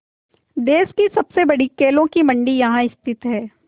देश की सबसे बड़ी केलों की मंडी यहाँ स्थित है